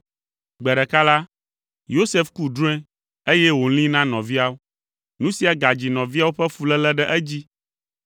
Gbe ɖeka la, Yosef ku drɔ̃e, eye wòlĩi na nɔviawo. Nu sia gadzi nɔviawo ƒe fuléle ɖe edzi!